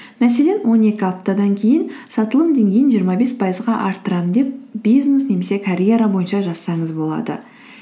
мәселен он екі аптадан кейін сатылым деңгейін жиырма бес пайызға арттырамын деп бизнес немесе карьера бойынша жазсаңыз болады